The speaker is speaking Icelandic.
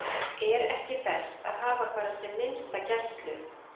Er ekki best að hafa bara sem minnsta gæslu?